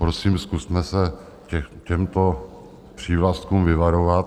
Prosím, zkusme se těchto přívlastků vyvarovat.